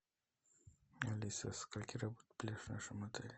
алиса со скольки работает пляж в нашем отеле